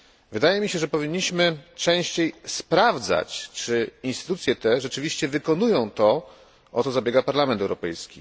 Wydaje mi się, że powinniśmy częściej sprawdzać, czy instytucje te rzeczywiście wykonują to, o co zabiega Parlament Europejski.